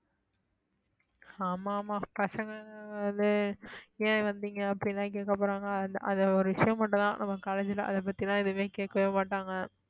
ஆமா ஆமா பசங்க அது ஏன் வந்தீங்க அப்படி எல்லாம் கேட்க போறாங்க அதை ஒரு விஷயம் மட்டும்தான் நம்ம college அதைப் பத்தி எல்லாம் எதுவுமே கேட்கவே மாட்டாங்க